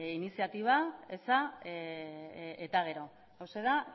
iniziatiba eza eta gero hauxe da